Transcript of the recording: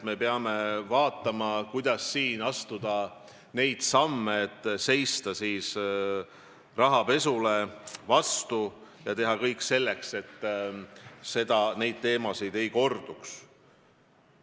Me peame vaatama, kuidas astuda samme, et seista vastu rahapesule ja teha kõik selleks, et need asjad ei korduks.